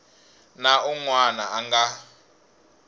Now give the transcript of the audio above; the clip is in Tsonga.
na un wana a nga